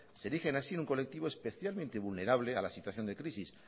se erigen así en un colectivo especialmente vulnerable a la situación de crisis